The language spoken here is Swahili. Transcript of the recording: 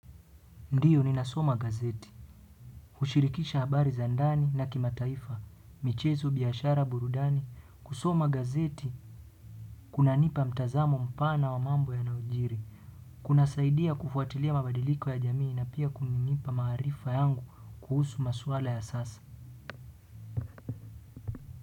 Ndiyo ninasoma gazeti, hushirikisha habari za ndani na kimataifa, michezo biashara burudani, kusoma gazeti, kunanipa mtazamo mpana wa mambo yanayojiri, kunasaidia kufuatilia mabadiliko ya jamii na pia kuninipa maarifa yangu kuhusu maswala ya sasa.